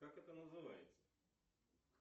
как это называется